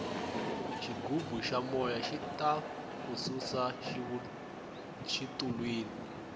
xigubu xa moya xita ku susa xitulwini